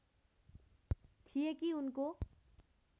थिए कि उनको